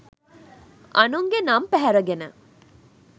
අනුන්ගේ නම් පැහැරගෙන